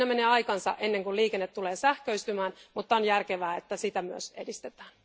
Menee aikansa ennen kuin liikenne tulee sähköistymään, mutta on järkevää, että sitä myös edistetään.